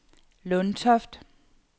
Lundtoft